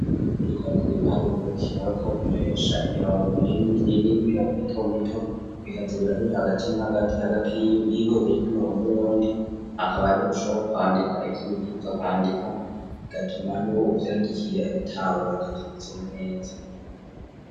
ariko arakure ibiharruro bikenewe ko koresha imirongo minini minini n'imirongo mito mito bikatse birahurira agakini hagati hagati y'ihurire ry'imirongo n'ubrundi akaba ariho ushobora kwandika ipsubifuza kwandika gatoma n'ibo uvyandikiye abitahura kabitsuma netsa